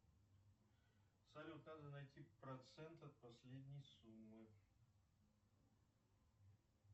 салют надо найти процент от последней суммы